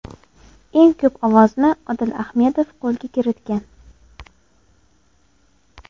Eng ko‘p ovozni Odil Ahmedov qo‘lga kiritgan.